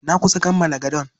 Na kusa kammala gadon.